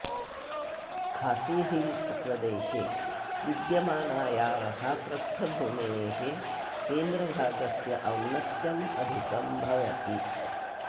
खासिहिल्स् प्रदेशे विद्यमानायाः प्रस्थभूमेः केन्द्रभागस्य औन्नत्यम् अधिकं भवति